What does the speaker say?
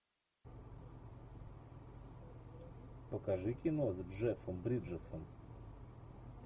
покажи кино с джеффом бриджесом